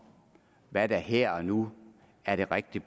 hvad der her og nu er det rigtige